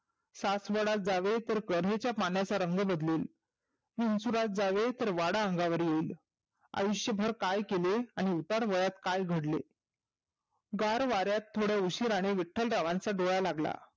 सासवडात जावे तर गर्वेच्या पाण्याचा रंग बदलेन विंचुरात जावे तर वाडा अंगावर येईल. आयुष्यभर काय केले आणि उतार वयात काय घडले? गार वाऱ्यात थोडं उशिराने विठ्ठलरावांचा डोळा लागला.